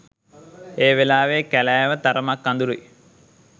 ඒ වෙලාවේ කැලෑව තරමක් අඳුරුයි